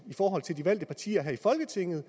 i forhold til de valgte partier her i folketinget